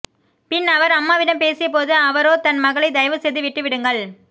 பின் அவர் அம்மாவிடம் பேசிய போது அவரோ தன் மகளை தயவு செய்து விட்டு விடுங்கள்